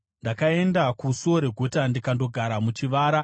“Pandakaenda kusuo reguta ndikandogara muchivara,